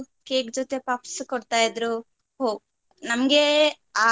Cake ಜೊತೆ puffs ಕೊಡ್ತಾ ಇದ್ರೂ ಹೋ ನಮ್ಗೆ ಅಹ್.